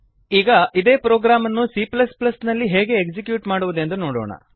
ಈಗ ಇದೇ ಪ್ರೊಗ್ರಾಮ್ ಅನ್ನು c ನಲ್ಲಿ ಎಕ್ಸಿಕ್ಯೂಟ್ ಮಾಡುವುದೆಂದು ನೋಡೋಣ